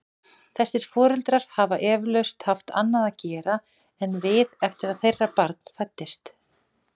Þessir foreldrar hafa eflaust haft annað að gera en við eftir að þeirra barn fæddist.